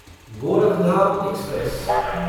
Gorakhdham express